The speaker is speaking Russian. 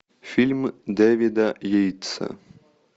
фильм дэвида йейтса